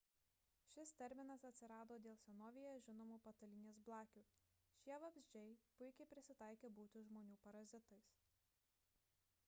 šis terminas atsirado dėl senovėje žinomų patalynės blakių – šie vabzdžiai puikiai prisitaikę būti žmonių parazitais